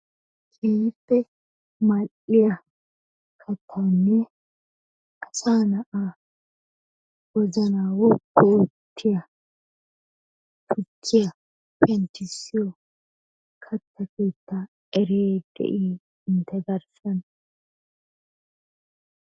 Keehippe mal'iyaa kattanne asa na'aa wozanna woppu oottiyaa tukkiyaa penttisiyo katta keettaa eriyay de'i entte garssan?